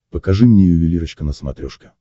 покажи мне ювелирочка на смотрешке